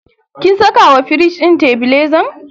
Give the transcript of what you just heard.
kin saka wa firij din tebilezan?